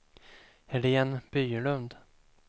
Helene Bylund